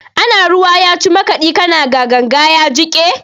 Ana ruwa ya ci makaɗi, ka na ganga ya jiƙe.